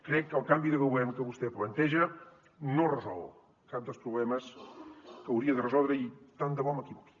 crec que el canvi de govern que vostè planteja no resol cap dels problemes que hauria de resoldre i tant de bo m’equivoqui